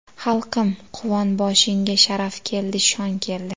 Xalqim, quvon, boshingga Sharaf keldi, shon keldi.